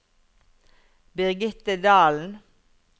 Birgitte Dahlen